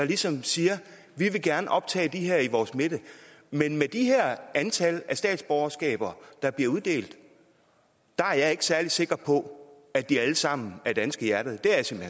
ligesom siger vi vil gerne optage dem her i vores midte men med det her antal af statsborgerskaber der bliver uddelt er jeg ikke særlig sikker på at de alle sammen er danske af hjertet